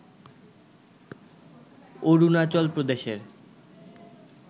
অরুণাচল প্রদেশের